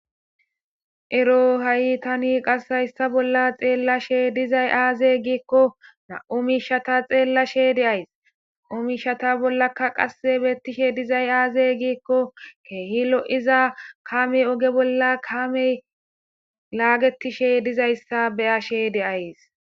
Ero ha'i tani qass hayssa bolla xeellashe dizay aaze giikko na'u miishshata xeellashe de'ays; na'u miishata bollakka qasse beettishe dizay aaze giikko keehi lo'iza kaamey oge bolla kaamey laaggetishe dizayssa be'ashe de'ays.